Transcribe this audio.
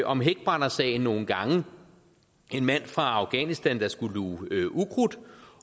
om hækbrændersagen nogle gange en mand fra afghanistan skulle luge ukrudt